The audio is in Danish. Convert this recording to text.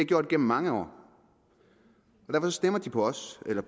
gjort igennem mange år derfor stemmer de på os eller